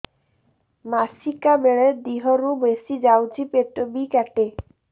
ମାସିକା ବେଳେ ଦିହରୁ ବେଶି ଯାଉଛି ପେଟ ବି କାଟେ